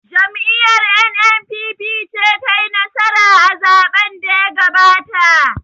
Jam'iyar 'N.N.P.P' ce ta yi nasara a zaɓen da ya gabata